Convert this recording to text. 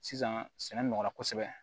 Sisan sɛnɛ nɔgɔ kosɛbɛ